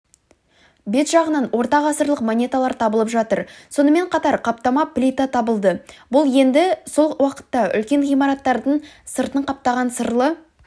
бет жағынан орта ғасырлық монеталар табылып жатыр сонымен қатар қаптама плита табылды бұл енді сол уақытта үлкен ғимараттардың сыртын қаптаған сырлы